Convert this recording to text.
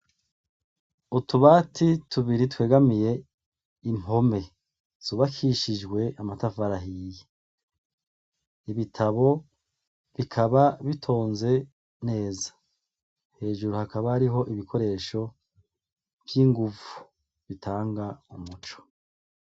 Utubati tubiri twegamiye impome zubakishijwe amatafari ahiye, ibitabo bikaba bitonze neza, hejuru hakaba hariho ibikoresho vy'ingumvu bitanga umuco.